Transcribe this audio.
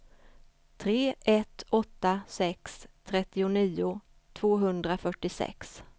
tre ett åtta sex trettionio tvåhundrafyrtiosex